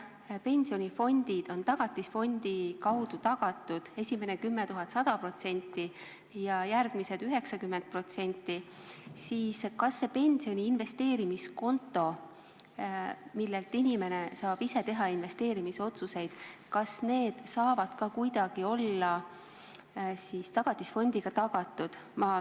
Kui pensionifondid on Tagatisfondi kaudu tagatud – esimene 10 000 eurot 100% ulatuses ja ülejäänu 90% ulatuses –, siis kas see pensioni investeerimiskonto, millel puhul saab inimene ise teha investeerimisotsuseid, saab ka kuidagi olla Tagatisfondi kaudu tagatud?